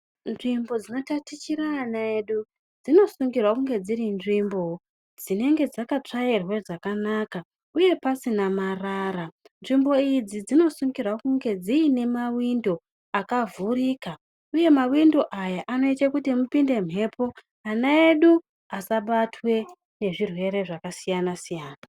Nzvimbo dzinotatichira ana edu dzinosungirwa kunge dziri nzvimbo dzinenge dzakatsvairwa zvakanaka uye pasina marara nzvimbo idzi dzinosungirwa kunge dziine mawindo akavhurika uye mawindo aya anoite kuti mupinde mhepo ana edu asabatwe nezvirwere zvakasiyana siyana.